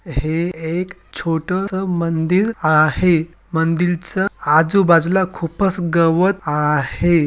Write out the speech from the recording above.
हे एक छोटस मंदिर आहे मंदिरच आजूबाजूला खूपच गवत आहे.